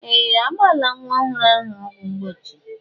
Ee! A gbala nwa ọhụrụ ahụ ọgwụ mgbochi.